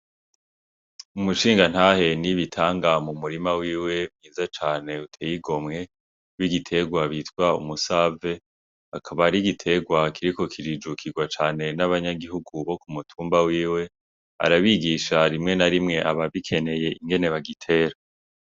Umushingantahe NIBITANGA mu murima wiwe mwiza cane uteye igomwe w'igitegwa bita umusave akaba ari igitegwa kiriko kirujukigwa cane n'abanyagihugu bo kumutumba wiwe arabigisha rimwe na rimwe ababikeneye ingene bagitera.